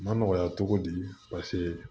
Ma nɔgɔya cogo di paseke